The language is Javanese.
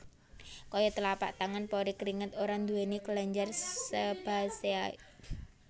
Kaya tlapak tangan pori kringet ora nduwèni kelenjar sebasea